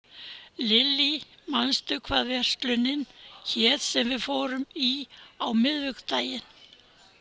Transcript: Lilly, manstu hvað verslunin hét sem við fórum í á miðvikudaginn?